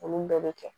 Olu bɛɛ bɛ kɛ